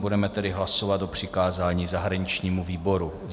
Budeme tedy hlasovat o přikázání zahraničnímu výboru.